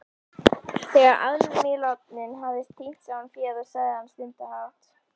Þegar aðmírállinn hafði tínt saman féð sagði hann stundarhátt